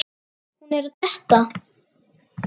Hún er að detta.